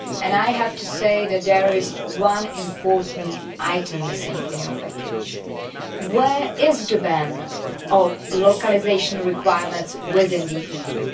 I have to say that there is one important item missing in your package. Where is the ban on localisation requirements within the EU?